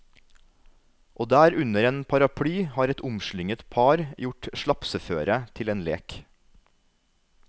Og der under en paraply har et omslynget par gjort slapseføret til en lek.